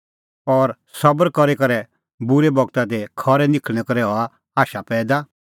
और सबर करी करै बूरै बगता दी खरै निखल़णैं करै हआ आशा पैईदा